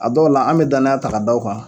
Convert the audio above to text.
A dɔw la an bɛ danaya ta k'a da u kan.